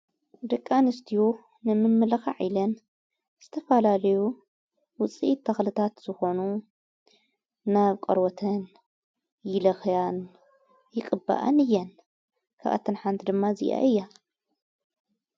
ድቃ ንስትኡ ንምመለኻ ዒለን ስተፋላልዩ ውፂ ተኽልታት ዝኾኑ ናብ ቀርወተን ይለኽያን ይቕበኣን እየን ካብኣተንሓንቲ ድማ እዚኣ እያ።